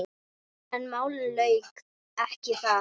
En málinu lauk ekki þar.